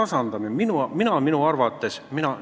Meie seda minu arvates tasandame.